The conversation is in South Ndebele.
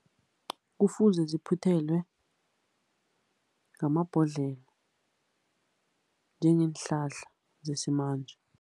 Kufuze ziphuthelwe ngamabhodlelo njengeenhlahla zesimanje.